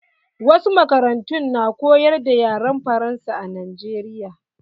Wasu makarantun na koyar da yaren faransa a Najeriya.